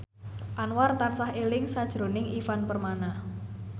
Anwar tansah eling sakjroning Ivan Permana